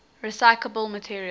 recyclable materials